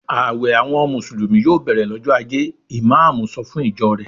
"Àwẹ̀ àwọn Mùsùlùmí yòò bẹ̀rẹ̀ lọ́jọ́ ajé!" Ìmáámù sọ fún ìjọ rẹ̀.